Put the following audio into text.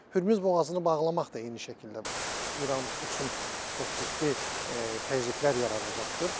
Hürmüz boğazını bağlamaq da eyni şəkildə İran üçün çox ciddi təzyiqlər yaradacaqdır.